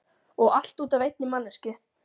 Og allt út af einni manneskju.